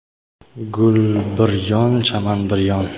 Gul bir yon chaman bir yon.